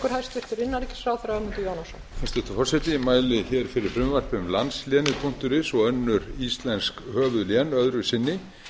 hæstvirtur forseti ég mæli hér fyrir frumvarp til laga um landslénið is og önnur íslensk höfuðlén öðru sinni